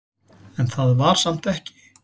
En það var samt ekki.